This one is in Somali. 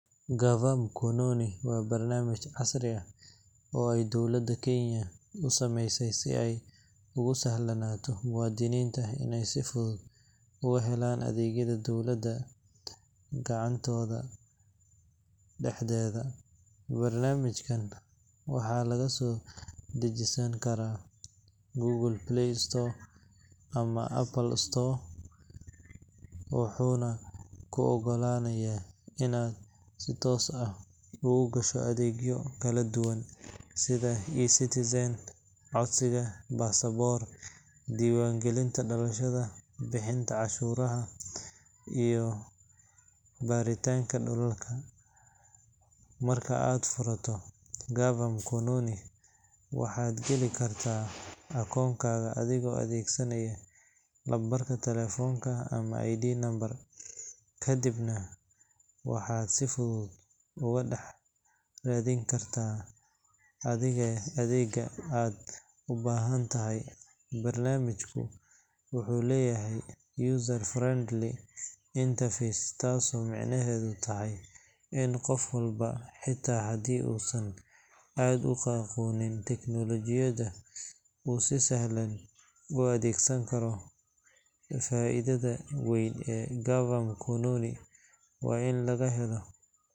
Gava Mkononi app waa barnaamij casri ah oo ay dowladda Kenya u sameysay si ay ugu sahlanaato muwaadiniinta inay si fudud uga helaan adeegyada dowladda gacantooda dhexdeeda. Barnaamijkan waxaa laga soo dejisan karaa Google Play Store ama Apple App Store, wuxuuna kuu oggolaanayaa inaad si toos ah ugu gasho adeegyo kala duwan sida eCitizen, codsiga passport, diiwaangelinta dhalashada, bixinta cashuuraha, iyo baaritaanka dhulalka. Marka aad furto Gava Mkononi, waxaad geli kartaa akoonkaaga adigoo adeegsanaya lambarka taleefanka ama ID number, kadibna waxaad si fudud uga dhex raadin kartaa adeegga aad u baahan tahay. Barnaamijku wuxuu leeyahay user-friendly interface, taasoo macnaheedu yahay in qof walba, xitaa haddii uusan aad u aqoonin tiknoolojiyadda, uu si sahlan u adeegsan karo. Faa’iidada weyn ee Gava Mkononi waa in laga helo.